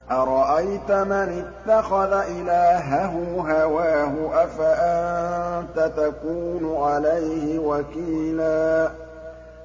أَرَأَيْتَ مَنِ اتَّخَذَ إِلَٰهَهُ هَوَاهُ أَفَأَنتَ تَكُونُ عَلَيْهِ وَكِيلًا